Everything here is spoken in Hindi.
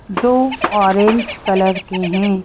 जो ऑरेंज कलर के हैं।